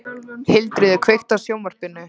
Hildiríður, kveiktu á sjónvarpinu.